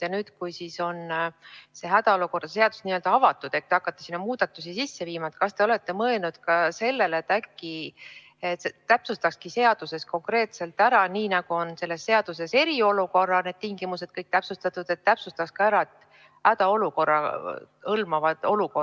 Ja nüüd, kui on hädaolukorra seadus n-ö avatud ja te hakkate sinna muudatusi sisse viima, kas te olete mõelnud sellele, et äkki täpsustaks seaduses konkreetselt ära, nii nagu on selles seaduses eriolukorra tingimused kõik täpsustatud, ka hädaolukorra hõlmatavad olukorrad?